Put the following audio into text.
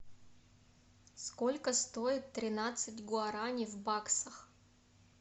сколько стоит тринадцать гуарани в баксах